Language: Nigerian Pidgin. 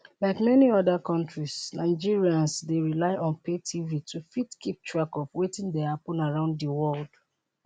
like many oda kontris nigerians dey rely on pay tv to fit keep track of wetin dey happun around di world